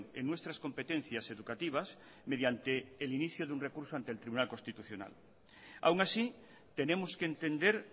en nuestras competencias educativas mediante el inicio de un recurso ante el tribunal constitucional aún así tenemos que entender